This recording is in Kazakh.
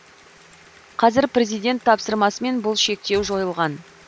қазір президент тапсырмасымен бұл шектеу жойылған